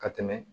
Ka tɛmɛ